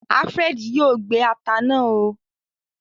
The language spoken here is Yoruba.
Alfred yoo gbé atá náa óò